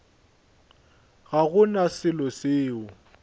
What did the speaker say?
ga go na selo seo